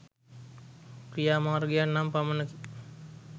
ක්‍රියාමාර්ගයක් නම් පමණකි.